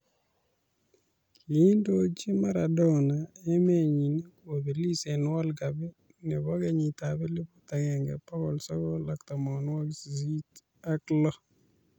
Kiindochi Maradona emenyi kobelis eng world cup nebo kenyitab elebut agenge, bokol sokol ak tamanwokik sisit ak lo